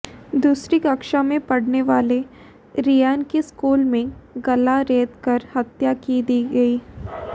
दूसरी कक्षा में पढ़ने वाले रेयान की स्कूल में गला रेतकर हत्या की दी गई